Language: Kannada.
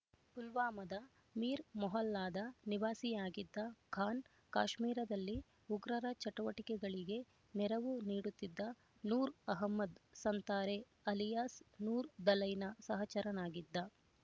ಪುಲ್ವಾಮಾದ ಮೀರ್‌ ಮೊಹಲ್ಲಾದ ನಿವಾಸಿಯಾಗಿದ್ದ ಖಾನ್ ಕಾಶ್ಮೀರದಲ್ಲಿ ಉಗ್ರರ ಚಟುವಟಿಕೆಗಳಿಗೆ ನೆರವು ನೀಡುತ್ತಿದ್ದ ನೂರ್ ಅಹಮದ್ ಸಂತಾರೆ ಅಲಿಯಾಸ್ ನೂರ್ ದಲೈನ ಸಹಚರನಾಗಿದ್ದ